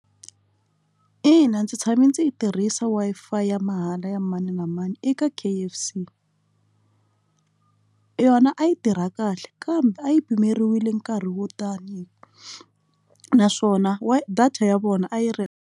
Ina, ndzi tshame ndzi yi tirhisa Wi-Fi ya mahala ya mani na mani eka K_F_C yona a yi tirha kahle kambe a yi pimeriwile nkarhi wo tani naswona wa data ya vona a yi ri.